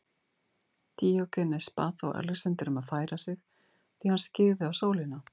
Díógenes bað þá Alexander um að færa sig því hann skyggði á sólina.